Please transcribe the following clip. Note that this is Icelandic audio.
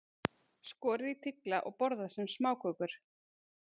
Skorið í tigla og borðað sem smákökur.